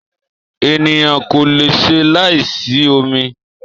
Ènìyàn kò leṣe láì sí omi